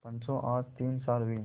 पंचो आज तीन साल हुए